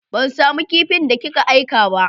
Ban samu kipin da ki ka aika ba.